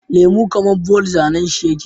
Lemo kaman ball zAnan shi yake